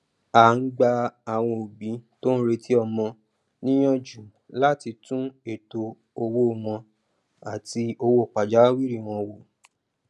a ń gba àwọn òbí tó ń retí ọmọ níyànjú láti tún ètò owó wọn àti owó pajawìrì wọn wo